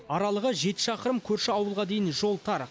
аралығы жеті шақырым көрші ауылға дейін жол тар